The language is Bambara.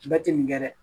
Bɛɛ tɛ nin kɛ dɛ